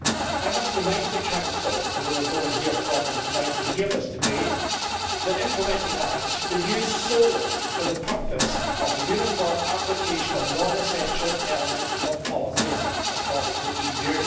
I must remind the Council, although there is no one representing them here tonight to hear this debate, that implementing acts should be used solely for the purpose of the uniform application of non essential elements of policies across the EU.